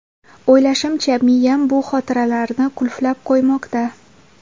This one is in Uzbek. O‘ylashimcha, miyam bu xotiralarni qulflab qo‘ymoqda.